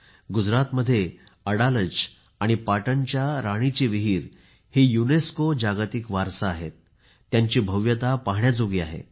गुजरातमध्ये अडलाज आणि पाटणच्या राणीची विहीर ही युनेस्को जागतिक वारसा आहेत त्यांची भव्यता पाहण्याजोगी आहे